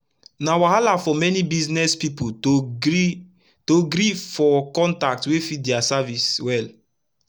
na wahala for many business pipu to gree to gree for contact wey fit dia service wel